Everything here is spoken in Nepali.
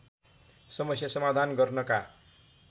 समस्या समाधान गर्नका